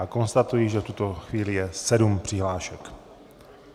A konstatuji, že v tuto chvíli je sedm přihlášek.